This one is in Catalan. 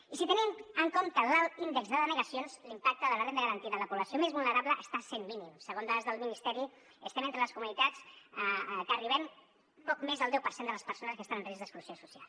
i si tenim en compte l’alt índex de denegacions l’impacte de la renda garantida en la població més vulnerable està sent mínim segons dades del ministeri estem entre les comunitats que arribem a poc més del deu per cent de les persones que estan en risc d’exclusió social